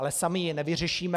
Ale sami ji nevyřešíme.